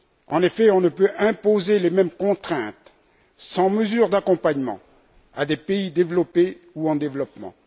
En effet, on ne peut imposer les mêmes contraintes sans mesure d'accompagnement à des pays développés ou en développement.